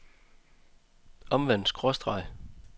omvendt skråstreg